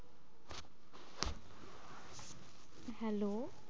Hello